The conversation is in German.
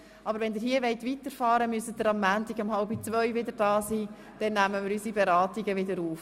Aber wenn Sie hier weiterfahren wollen, müssen Sie am Montag um 13.30 Uhr wieder da sein, dann werden wir unsere Beratungen wieder aufnehmen.